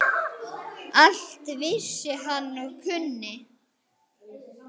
Allt vissi hann og kunni.